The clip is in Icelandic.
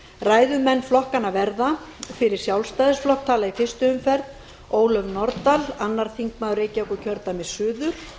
ræðumenn flokkanna verða fyrir sjálfstæðisflokk tala í fyrstu umferð ólöf nordal annar þingmaður reykjavíkurkjördæmis suður